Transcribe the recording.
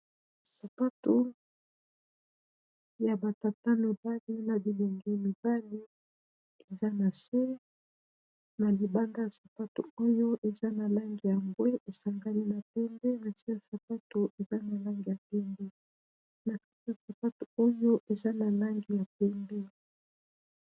Sapato ya batata mibali na bilengi mibali eza na se, na libanda ya sapato oyo eza na lange ya mbwe esangani na pembe, nase ya sapato eza na langi ya mpembe na kati ya sapato oyo eza na langi ya pembe.